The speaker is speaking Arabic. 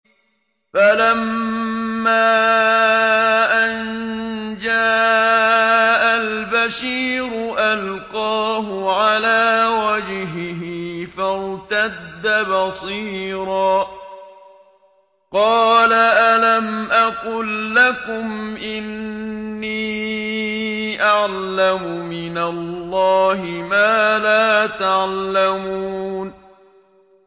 فَلَمَّا أَن جَاءَ الْبَشِيرُ أَلْقَاهُ عَلَىٰ وَجْهِهِ فَارْتَدَّ بَصِيرًا ۖ قَالَ أَلَمْ أَقُل لَّكُمْ إِنِّي أَعْلَمُ مِنَ اللَّهِ مَا لَا تَعْلَمُونَ